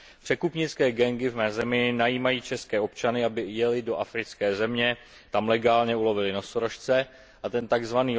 Překupnické gangy v mé zemi najímají české občany, aby jeli do africké země, tam legálně ulovili nosorožce a ten tzv.